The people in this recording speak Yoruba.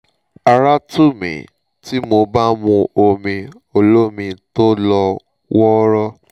ara tù mí tí mo bá mu omi olómi tó lọ́ wọ́ọ́rọ́